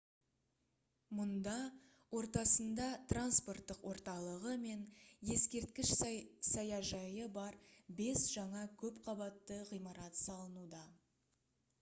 мұнда ортасында транспорттық орталығы мен ескерткіш саяжайы бар бес жаңа көп қабатты ғимарат салынуда